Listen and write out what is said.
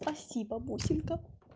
спасибо бусинка